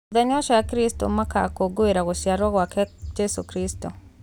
Mũthenya ũcio akristo makũngũĩragĩra gũciarowa gwake Jesũ Kristo.